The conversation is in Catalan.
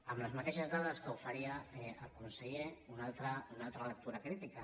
amb les mateixes dades que oferia el conseller una altra lectura crítica